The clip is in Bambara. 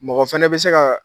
Mɔgɔ fana bɛ se ka.